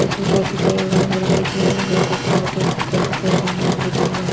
इसमें काफी सारे रंग बिरंग के झूले हैं वटर पार्क है इसमें काफी सारे रंग बिरंग के झूले हैं।